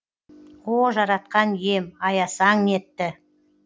о жаратқан ием аясаң нетті